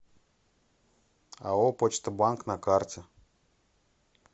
ао почта банк на карте